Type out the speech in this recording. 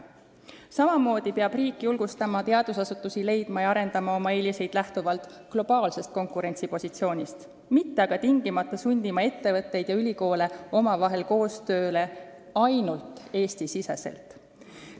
Samamoodi peab riik julgustama teadusasutusi leidma ja arendama oma eeliseid lähtuvalt globaalsest konkurentsipositsioonist, mitte tingimata sundima ettevõtteid ja ülikoole omavahel koostööle ainult Eesti-siseselt.